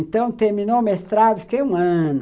Então, terminou o mestrado, fiquei um ano...